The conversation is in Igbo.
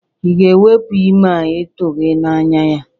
Ị ga-ewepu ime a itughi anya ya?